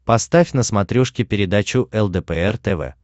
поставь на смотрешке передачу лдпр тв